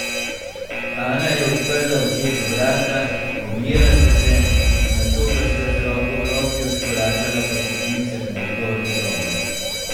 Ana je odprla očetu vrata, objela sta se, nato pa sta z roko v roki odkorakala po stopnicah navzgor v sobo.